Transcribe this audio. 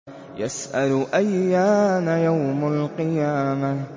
يَسْأَلُ أَيَّانَ يَوْمُ الْقِيَامَةِ